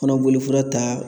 Fana bolofara ta